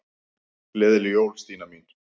Gleðileg jól, Stína mín.